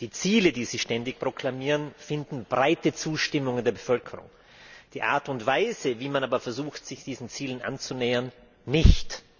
Die Ziele, die sie ständig proklamieren, finden breite Zustimmung in der Bevölkerung, die Art und Weise, wie man aber versucht, sich diesen Zielen anzunähern, nicht.